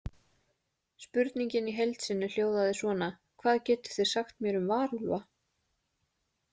Spurningin í heild sinni hljóðaði svona: Hvað getið þið sagt mér um varúlfa?